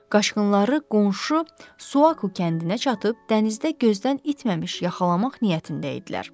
Qaçqınları qonşu Suak Kəndinə çatıb dənizdə gözdən itməmiş yaxalamaq niyyətində idilər.